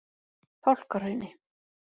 Fálkahrauni